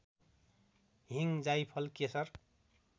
हिङ जाइफल केशर